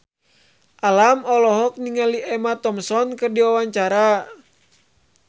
Alam olohok ningali Emma Thompson keur diwawancara